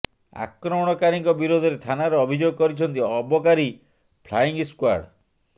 ଆକ୍ରମଣକାରୀଙ୍କ ବିରୋଧରେ ଥାନାରେ ଅଭିଯୋଗ କରିଛନ୍ତି ଅବକାରୀ ଫ୍ଲାଇଙ୍ଗ ସ୍କ୍ୱାର୍ଡ